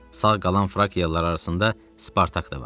Sağ qalan Frakialılar arasında Spartak da vardı.